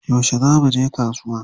Yaushe za muje kasuwa?